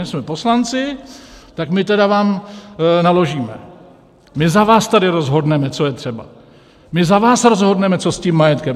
My jsme poslanci, tak my tedy vám naložíme, my za vás tady rozhodneme, co je třeba, my za vás rozhodneme, co s tím majetkem.